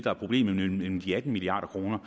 er problemet nemlig de atten milliard kroner